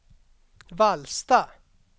Vallsta